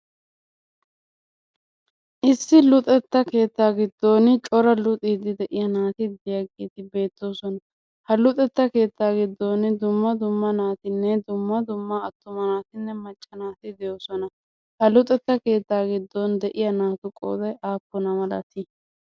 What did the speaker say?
Issi luxetta keettaa giddooni cora luxiiddi de'iya naati diyageeti beettoosona. Ha luxetta keettaa giddooni dumma dumma naatinne dumma dumma attuma naatinne macca naati de"oosona. Ha luxetta keettaa giddon de"iya naatu qooday aappuna malati?